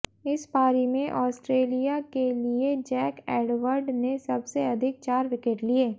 इस पारी में आस्ट्रेलिया के लिए जैक एडवर्ड ने सबसे अधिक चार विकेट लिए